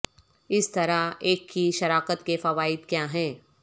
اس طرح ایک کی شراکت کے فوائد کیا ہیں